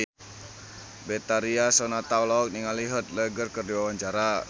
Betharia Sonata olohok ningali Heath Ledger keur diwawancara